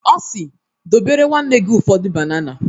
Ọ si "dobere nwanne gi nwoke ụfọdụ banana"